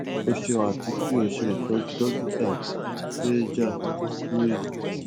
o ṣeun ati ki o ṣe itọju dokita shailja puri